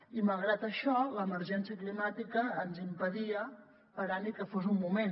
i malgrat això l’emergència climàtica ens impedia parar ni que fos un moment